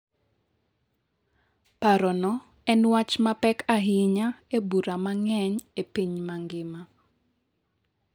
Parono en wach mapek ahinya e bura mang’eny e piny mangima.